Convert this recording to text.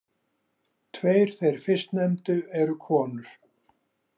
Tveir þeir fyrstnefndu eru konur.